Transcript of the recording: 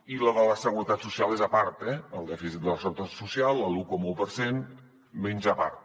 i la de la seguretat social és a part eh el dèficit de la seguretat social l’un coma un per cent menja a part